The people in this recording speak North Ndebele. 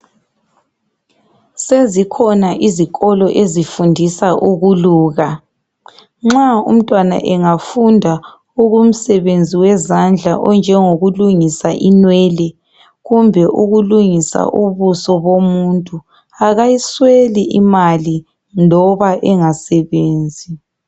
Sezikhona izikolo ezifundisa ukuluka nxa umntwana engafunda okomsebenzi wezandla onjengokulungisa inwele kumbe ukulungisa ubuso bomuntu akayisweli imali loba engasebenzi.